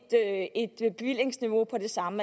bevillingsniveau på det samme